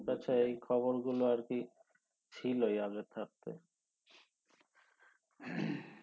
এই খবর গুলো আর কি ছিলোই আগে থাকতে